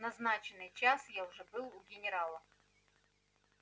в назначенный час я уже был у генерала